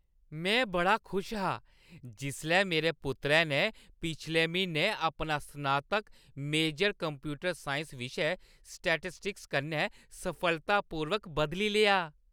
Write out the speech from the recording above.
में बड़ा खुश हा जिसलै मेरे पुत्तरै ने पिछले म्हीनै अपना स्नातक मेजर कंप्यूटर साइंस विशे सांख्यिकी कन्नै सफलतापूर्वक बदली लेआ।